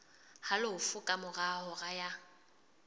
halofo ka mora hora ya